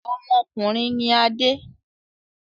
Ọmọkùnrin ni Adé.